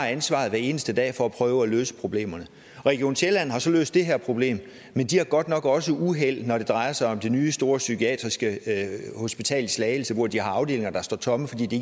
ansvaret hver eneste dag for at prøve at løse problemerne region sjælland har så løst det her problem men de har godt nok også været uheldige når det drejer sig om det nye store psykiatriske hospital i slagelse hvor de har afdelinger der står tomme fordi de